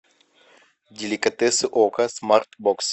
деликатесы окко смартбокс